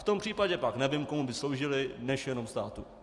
V tom případě pak nevím, komu by sloužily než jenom státu.